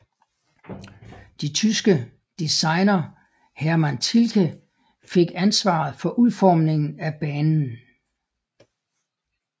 De tyske designer Hermann Tilke fik ansvaret for udformningen af banen